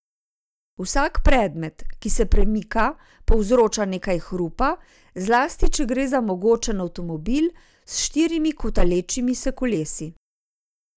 Vsak predmet, ki se premika povzroča nekaj hrupa, zlasti če gre za mogočen avtomobil, s štirimi kotalečimi se kolesi.